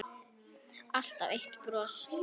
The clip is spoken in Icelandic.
Alltaf eitt bros.